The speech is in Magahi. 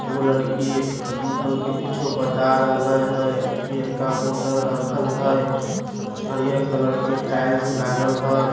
एगो लड़की अंकल के कुछु बता रहले हय पियरका बोतल रखल हय हरियर कलर की टाइल्स लागल हय।